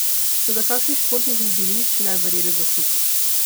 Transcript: Toda, kakšni športniki bi bili, če ne bi verjeli v zasuk?